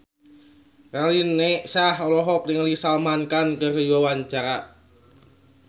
Raline Shah olohok ningali Salman Khan keur diwawancara